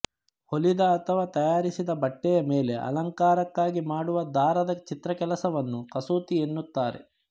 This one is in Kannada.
ಹೊಲಿದ ಅಥವಾ ತಯಾರಿಸಿದ ಬಟ್ಟೆಯ ಮೇಲೆ ಅಲಂಕಾರಕ್ಕಾಗಿ ಮಾಡುವ ದಾರದ ಚಿತ್ರಕೆಲಸವನ್ನು ಕಸೂತಿಯೆನ್ನುತ್ತಾರೆ